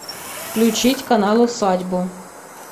включить канал усадьбу